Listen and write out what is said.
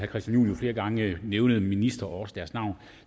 christian juhl flere gange nævnede ministre og også deres navn og